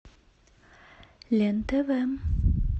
лен тв